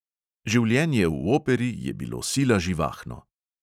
Življenje v operi je bilo sila živahno.